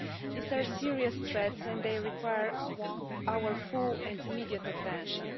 These are serious threats and they require our full and immediate attention.